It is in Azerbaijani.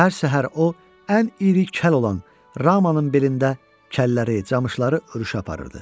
Hər səhər o ən iri kəl olan Ramanın belində kəlləri, camışları öruşə aparırdı.